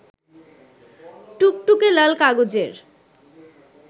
টুকটুকে লাল কাগজের